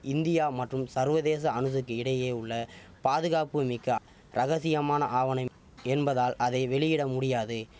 India மற்றும் சர்வதேச அணுச இடையே உள்ள பாதுகாப்பு மிக்க ரகசியமான ஆவணம் என்பதால் அதை வெளியிட முடியாது